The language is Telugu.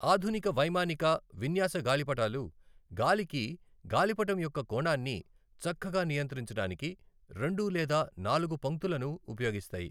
ఆధునిక వైమానిక విన్యాస గాలిపటాలు గాలికి గాలిపటం యొక్క కోణాన్ని చక్కగా నియంత్రించడానికి రెండు లేదా నాలుగు పంక్తులను ఉపయోగిస్తాయి.